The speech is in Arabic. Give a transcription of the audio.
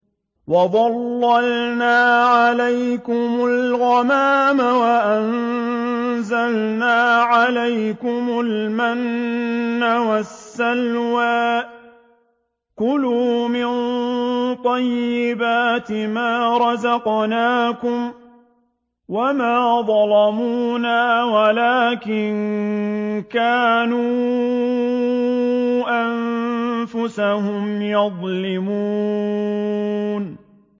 وَظَلَّلْنَا عَلَيْكُمُ الْغَمَامَ وَأَنزَلْنَا عَلَيْكُمُ الْمَنَّ وَالسَّلْوَىٰ ۖ كُلُوا مِن طَيِّبَاتِ مَا رَزَقْنَاكُمْ ۖ وَمَا ظَلَمُونَا وَلَٰكِن كَانُوا أَنفُسَهُمْ يَظْلِمُونَ